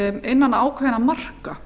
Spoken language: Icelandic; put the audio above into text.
innan ákveðinna marka